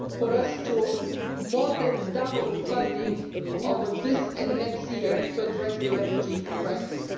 We will therefore more than double funding over this and next year to address the refugee crisis.